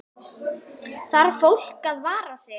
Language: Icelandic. Þarf fólk að vara sig?